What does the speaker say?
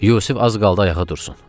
Yusif az qaldı ayağa dursun.